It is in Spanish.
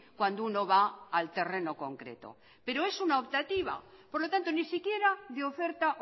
cuando uno va al terreno concreto pero es una optativa por lo tanto ni siquiera de oferta